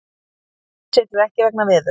Herjólfur siglir ekki vegna veðurs